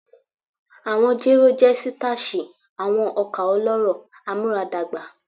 Awọn jero jẹ sitashi, awọn oka ọlọrọ amuaradagba